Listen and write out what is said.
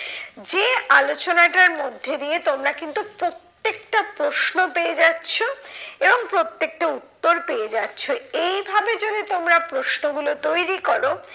যে আলোচনাটার মধ্যে দিয়ে তোমরা কিন্তু প্রত্যেকটা প্রশ্ন পেয়ে যাচ্ছ, এবং প্রত্যেকটা উত্তর পেয়ে যাচ্ছ। এইভাবে যদি তোমরা প্রশ্ন গুলো তৈরী করো,